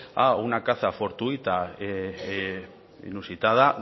a una caza fortuita e inusitada